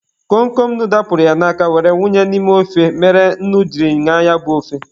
Kom Kom nnu dapụrụ ya n'aka were wunye n'ime ofe mere nnu jiri ñaa ya bụ ofe.